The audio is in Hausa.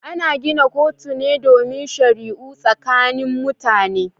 Ana gina kotuna ne domin shari'u tsakanin mutane.